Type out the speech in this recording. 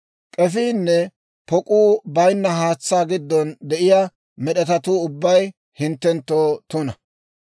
K'efiinne pok'uu baynna haatsaa giddon de'iyaa med'etatuu ubbay hinttenttoo tuna.